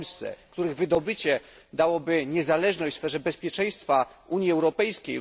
w Polsce, a których wydobycie dałoby niezależność w sferze bezpieczeństwa Unii Europejskiej.